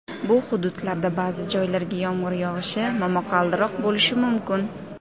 Bu hududlarda ba’zi joylarga yomg‘ir yog‘ishi, momaqaldiroq bo‘lishi mumkin.